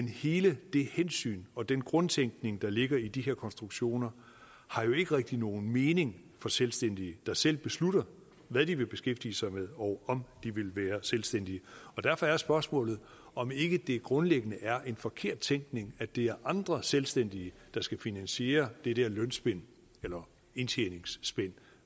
hele det hensyn og den grundtænkning der ligger i de her konstruktioner har jo ikke rigtig nogen mening for selvstændige der selv beslutter hvad de vil beskæftige sig med og om de vil være selvstændige og derfor er spørgsmålet om ikke det grundlæggende er en forkert tænkning at det er andre selvstændige der skal finansiere det der lønspænd eller indtjeningsspænd